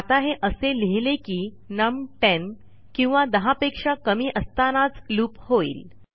आता हे असे लिहिले की नम 10 किंवा 10पेक्षा कमी असतानाच लूप होईल